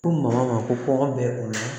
Ko maka ma ko kɔngɔ bɛ o la